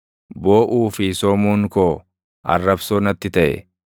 Booʼuu fi soomuun koo, arrabsoo natti taʼe.